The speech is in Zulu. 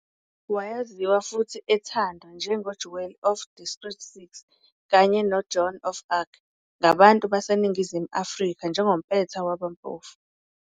Wayaziwa futhi ethandwa njenge-"Jewel of District Six" kanye "noJoan of Arc" ngabantu baseNingizimu Afrika njengompetha wabampofu.